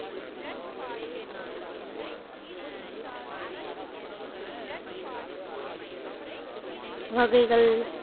வகைகள்